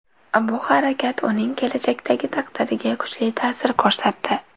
Bu harakat uning kelajakdagi taqdiriga kuchli ta’sir ko‘rsatdi.